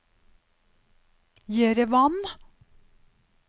Jerevan